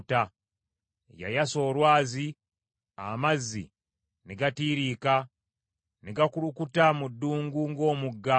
Yayasa olwazi, amazzi ne gatiiriika, ne gakulukuta mu ddungu ng’omugga.